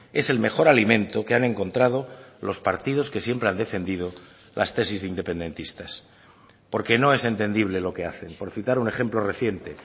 es el mejor alimento que han encontrado los partidos que siempre han defendido las tesis de independentistas porque no es entendible lo que hacen por citar un ejemplo reciente